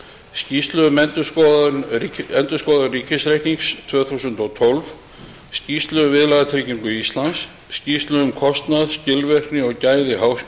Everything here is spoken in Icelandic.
skýrslu um endurskoðun ríkisreiknings tvö þúsund og tólf skýrslu um viðlagatryggingu íslands skýrslu um kostnað skilvirkni og gæði